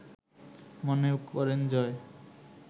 মনে করেন জয়